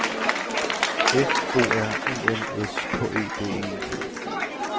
F O R E L S K E D E